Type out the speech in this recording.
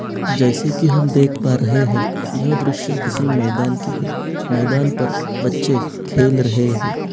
जैसे की हम देख पा रहे है यह दृश्य किसी मैदान की है मैदान पर बच्चे खेल रहे है।